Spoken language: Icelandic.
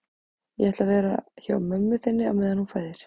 Ég ætla að vera hjá mömmu þinni á meðan hún fæðir